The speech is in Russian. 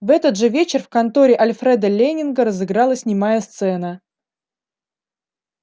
в этот же вечер в конторе альфреда лэннинга разыгралась немая сцена